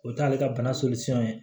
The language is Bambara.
O t'ale ka bana ye